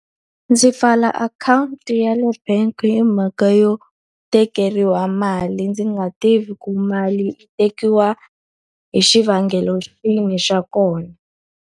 Ndzi pfala akhawunti ya le bank hi mhaka yo tekeriwa mali ndzi nga tivi ku mali yi tekiwa hi xivangelo xihi xa kona.